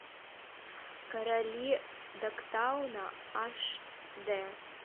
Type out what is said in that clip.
короли догтауна аш дэ